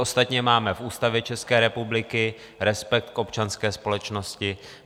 Ostatně máme v Ústavě České republiky respekt k občanské společnosti.